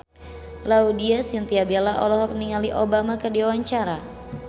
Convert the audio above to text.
Laudya Chintya Bella olohok ningali Obama keur diwawancara